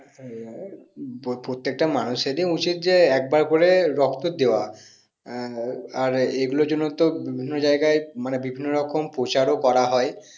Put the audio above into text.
হম প্রত্যেকটা মানুষ এর ই উচিত একবার করে রক্ত দিয়া আর এগুলোর জন্য তো বিভিন্ন জায়গায় মানে বিভিন্ন রকম প্রচারও তো করা হয়